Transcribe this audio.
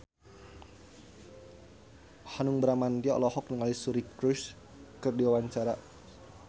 Hanung Bramantyo olohok ningali Suri Cruise keur diwawancara